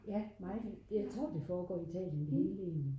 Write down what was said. ja meget jeg tror det foregår i Italien det hele egentlig